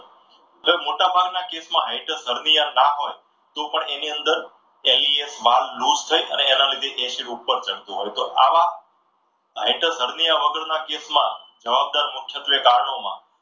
મોટાભાગના કેસમાં high per સરવૈયા નામના ના હોય તો પણ એની અંદર માલ લુસ થાય અને એની એના લીધે વહેંચણી ઉપર ચડતું હોય છે. તો આવા હાઇટ્રસ હરણીયા ના કેસમાં જવાબદાર મુખ્યત્વે કારણોમાં